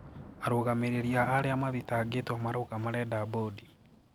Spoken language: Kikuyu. Arũgamĩrĩri a aria mathitangituo marauga marenda bodi.